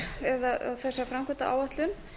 hér eða þessa framkvæmdaáætlun